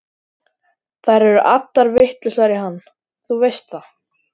Þær eru allar vitlausar í hann, þú veist það.